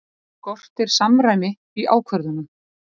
Skortir samræmi í ákvörðunum